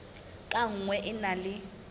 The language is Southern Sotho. ka nngwe e na le